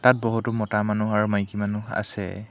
তাত বহুতো মতা মানুহ আৰু মাইকী মানুহ আছে।